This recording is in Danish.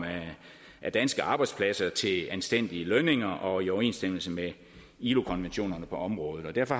af danske arbejdspladser til anstændige lønninger og i overensstemmelse med ilo konventionerne på området og derfor